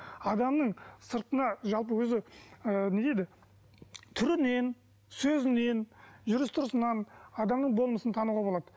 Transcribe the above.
адамның сыртына жалпы өзі ы не дейді түрінен сөзінен жүріс тұрысынан адамның болмысын тануға болады